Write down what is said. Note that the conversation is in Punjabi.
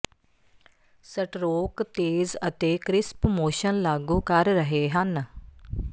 ਸਟਰੋਕ ਤੇਜ਼ ਅਤੇ ਕਰਿਸਪ ਮੋਸ਼ਨ ਲਾਗੂ ਕਰ ਰਹੇ ਹਨ